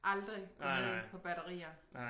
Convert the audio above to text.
Aldrig gå ned på batterier